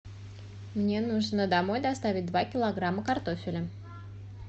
мне нужно домой доставить два килограмма картофеля